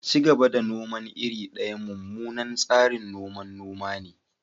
Ci gaba da noman iri daya mummunan tsarin noman noma ne.